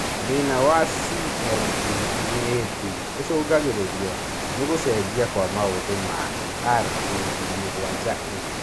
Thĩna wa CMT2B icũngagĩrĩrio nĩ gũcenjia kwa maũthĩ ma RAB7A